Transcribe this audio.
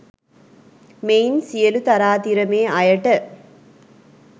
මෙයින් සියලු තරාතිරමේ අයට